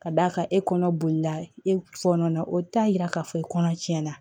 Ka d'a kan e kɔnɔ bolila e fɔnɔ na o t'a yira k'a fɔ kɔnɔ tiɲɛna